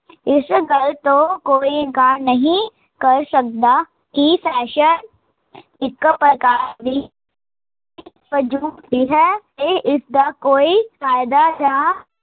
ਇਸ ਗੱਲ ਤੋਂ ਕੋਈ ਇਨਕਾਰ ਨਹੀਂ ਕਰ ਸਕਦਾ, ਕੀ ਇੱਕ ਪ੍ਰਕਾਰ ਦੀ ਹੁੰਦੀ ਹੈ ਤੇ ਇਸਦਾ ਕੋਈ ਫਾਇਦਾ ਜਾ